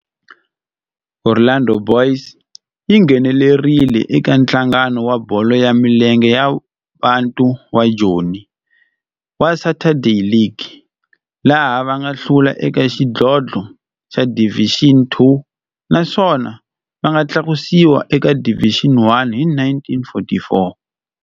Orlando Boys yi nghenelerile eka Nhlangano wa Bolo ya Milenge wa Bantu wa Joni wa Saturday League, laha va nga hlula eka xidlodlo xa Division Two naswona va nga tlakusiwa eka Division One hi 1944.